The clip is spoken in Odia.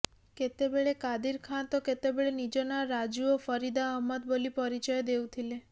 କେତେବେଳେ କାଦିର ଖାଁ ତ କେତେବେଳେ ନିଜ ନାଁ ରାଜୁ ଓ ଫରିଦା ଅହମ୍ମଦ ବୋଲି ପରିଚୟ ଦେଉଥିଲେ